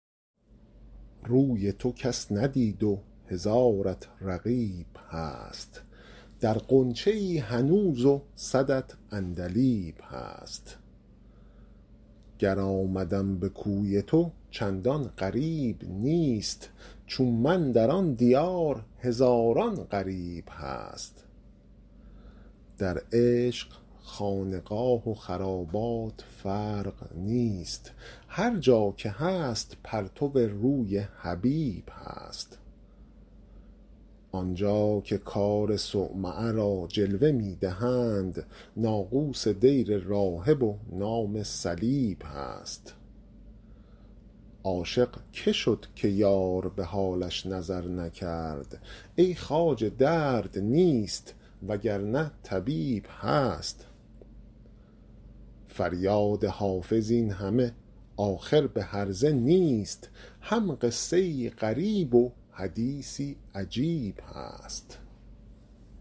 روی تو کس ندید و هزارت رقیب هست در غنچه ای هنوز و صدت عندلیب هست گر آمدم به کوی تو چندان غریب نیست چون من در آن دیار هزاران غریب هست در عشق خانقاه و خرابات فرق نیست هر جا که هست پرتو روی حبیب هست آن جا که کار صومعه را جلوه می دهند ناقوس دیر راهب و نام صلیب هست عاشق که شد که یار به حالش نظر نکرد ای خواجه درد نیست وگرنه طبیب هست فریاد حافظ این همه آخر به هرزه نیست هم قصه ای غریب و حدیثی عجیب هست